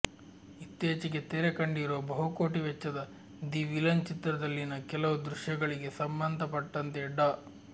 ಇತ್ತೀಚೆಗೆ ತೆರೆ ಕಂಡಿರುವ ಬಹುಕೋಟಿ ವೆಚ್ಚದ ದಿ ವಿಲನ್ ಚಿತ್ರದಲ್ಲಿನ ಕೆಲವು ದೃಶ್ಯಗಳಿಗೆ ಸಂಬಂಧಪಟ್ಟಂತೆ ಡಾ